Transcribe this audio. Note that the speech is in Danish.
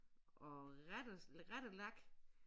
Og rette rettelak